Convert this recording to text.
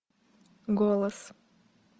голос